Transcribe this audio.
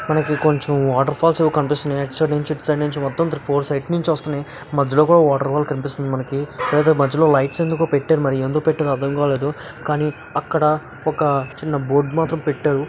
మనకి కొంచెం water falls కనిపిస్తున్నాయి అటు సైడ్ నుంచి ఇటు సైడ్ నుంచి మొత్తం ఫోర్ సైడ్స్ నుంచి వస్తున్నై మధ్యలో కూడా వాటర్ కూడా కనిపిస్తుంది మనకి మధ్యలో లైట్స్ అయితే పెట్టారు ఎందుకు పెట్టారో ఆరం కాలేదు కానీ అక్కడ ఒక చిన్న బోర్డు మాత్రం పెట్టారు.